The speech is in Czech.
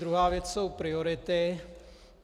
Druhá věc jsou priority.